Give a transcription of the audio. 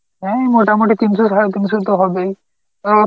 উম মোটামুটি তিনশো সারে তিনশো তো হবেই, ও